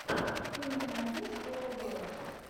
ты мне найдешь овэбро